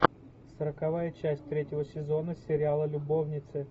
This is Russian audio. сороковая часть третьего сезона сериала любовницы